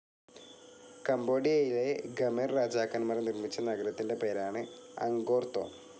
കമ്പോഡിയയിലെ Khmer രാജാക്കൻമാർ നിർമിച്ച നഗരത്തിന്റെ പേരാണ് അങ്കോർതോം.